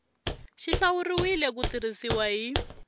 xi hlawuriwile ku tirhisiwa hi